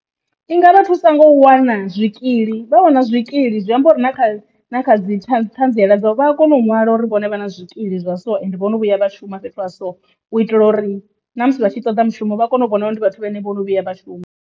I nga vha thusa nga u wana zwikili vha wana zwikili zwi amba uri na kha na dzi thanziela dza u vha a kona u ṅwala uri vhone vha na zwikili zwa so ende vhono vhuya vha shuma fhethu ha so u itela uri na musi vhatshi ṱoḓa mushumo vha kone u vhona vho ndi vhathu vhane vho no vhuya vhashuma.